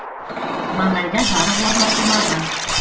маңайда жарық орнатылмаған